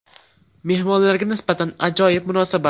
Mehmonlarga nisbatan ajoyib munosabat”.